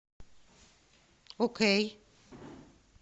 окей